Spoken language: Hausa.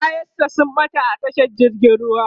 kayan sa sun ɓata a tashar jirgin ruwa